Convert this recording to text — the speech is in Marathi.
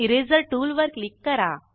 इरेजर टूल वर क्लिक करा